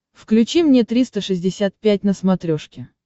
включи мне триста шестьдесят пять на смотрешке